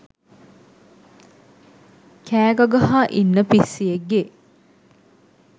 කෑ ගගහා ඉන්න පිස්සියෙක්ගේ